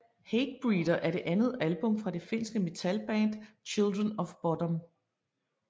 Hatebreeder er det andet album fra det finske metalband Children of Bodom